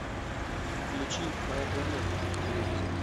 включи моя планета на телевизоре